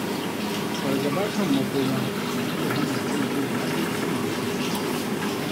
Fargaba kan makoma na iya hana mutum jin daɗin abin da yake da shi.